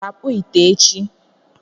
Ọ ga-akpụ ite echi?